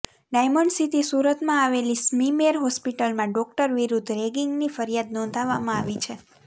diamond city સુરતમાં આવેલી SMIMER હોસ્પિટલમાં ડોક્ટર વિરૂદ્ધ રેગિંગની ફરિયાદ નોંધાવવામાં આવી છે